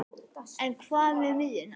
En hvað með miðjuna?